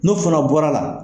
No fana bɔra la.